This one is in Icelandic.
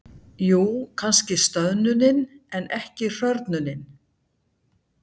Jú, kannski stöðnunin, en ekki hrörnunin.